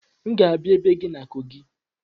M ga-abịa ebe gị na kogị